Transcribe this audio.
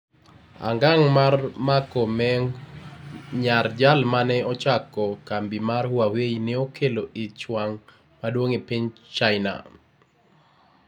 Angang mar mako Meng, nyar jal ma ne ochako kambi mar Huawei, ne okelo ich wang ' maduong ' e piny China.